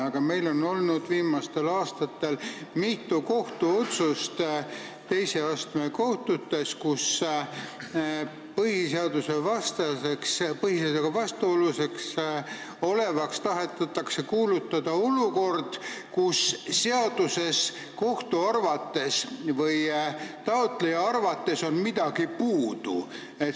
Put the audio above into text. Aga meil on viimastel aastatel tehtud teise astme kohtutes mitu otsust, kus põhiseadusega vastuolus olevaks tahetakse kuulutada olukord, kus seaduses on taotleja ja kohtu arvates midagi puudu.